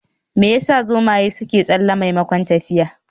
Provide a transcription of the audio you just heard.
Me yasa zomaye suke tsalle maimakon tafiya?